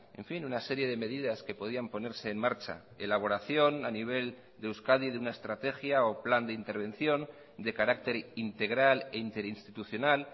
en fin una serie de medidas que podían ponerse en marcha elaboración a nivel de euskadi de una estrategia o plan de intervención de carácter integral e interinstitucional